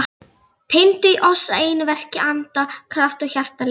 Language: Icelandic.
Tengdu í oss að einu verki anda, kraft og hjartalag.